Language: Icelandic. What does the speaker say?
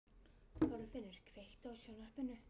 Þorfinnur, kveiktu á sjónvarpinu.